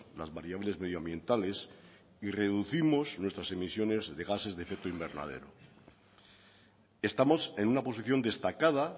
las variables medioambientales y reducimos nuestras emisiones de gases de efecto invernadero estamos en una posición destacada